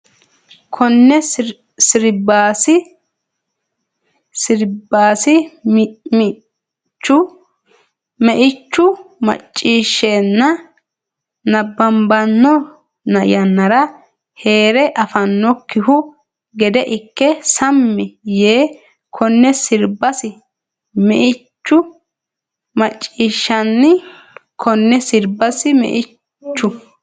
Konne sirbasi meichu macciishshanni nabbabbanno yannara hee re afinokkihu gede ikke sammi yii Konne sirbasi meichu macciishshanni Konne sirbasi meichu.